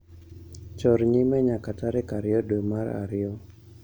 Chor nyime nyaka tarik ariyo dwe mar ariyo.